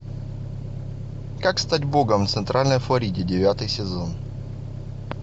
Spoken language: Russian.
как стать богом в центральной флориде девятый сезон